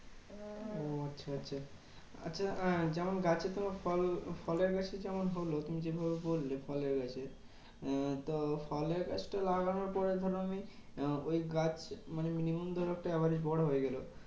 ও আচ্ছা আচ্ছা আচ্ছা। হ্যাঁ যেমন গাছে তোমার ফল ফলের গাছই যেমন হলো, তুমি যেভাবে বললে ফলের গাছের। উম তো ফলের গাছটা লাগানোর পরে ধরো আমি ওই গাছ মানে minimum ধরো একটা average বড় হয়ে গেলে,